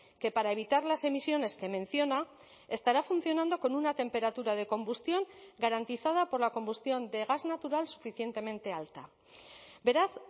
que para evitar las emisiones que menciona estará funcionando con una temperatura de combustión garantizada por la combustión de gas natural suficientemente alta beraz